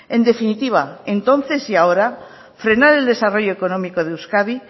en definitiva entonces y ahora frenar el desarrollo económico de euskadi